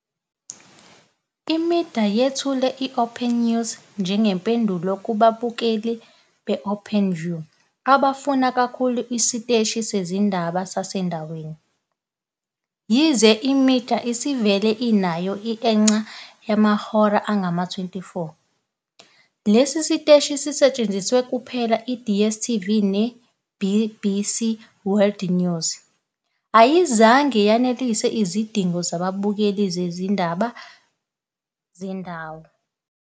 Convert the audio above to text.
I-eMedia yethule i-OpenNews njengempendulo kubabukeli be-Openview abafuna kakhulu isiteshi sezindaba sasendaweni. Yize i-eMedia isivele inayo i- eNCA yamahora angama-24, lesi siteshi senzelwe kuphela i-DStv ne- BBC World News, esemapulatifomu womabili, ayizange yanelise izidingo zababukeli zezindaba zendawo.